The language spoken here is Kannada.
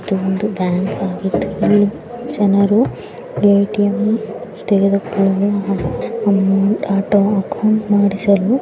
ಇದೊಂದು ಬ್ಯಾಂಕ್ ಆಗಿದ್ದು ಜನರು ಎ_ಟಿ_ಎಮ್ ತೆಗೆದುಕೊಂಡು ಹ್ಮ್ಮ್ ಅಥವಾ ಅಕೌಂಟ್ ಮಾಡಿಸಲು--